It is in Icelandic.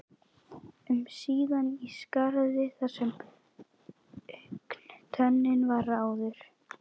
um síðan í skarðið þar sem augntönnin var áður.